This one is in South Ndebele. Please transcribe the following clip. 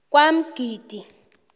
kwamgidi